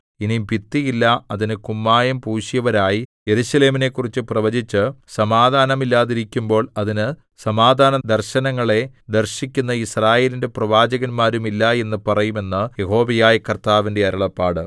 ഇനി ഭിത്തിയില്ല അതിന് കുമ്മായം പൂശിയവരായി യെരൂശലേമിനെക്കുറിച്ച് പ്രവചിച്ച് സമാധാനമില്ലാതിരിക്കുമ്പോൾ അതിന് സമാധാനദർശനങ്ങളെ ദർശിക്കുന്ന യിസ്രായേലിന്റെ പ്രവാചകന്മാരും ഇല്ല എന്ന് പറയും എന്ന് യഹോവയായ കർത്താവിന്റെ അരുളപ്പാട്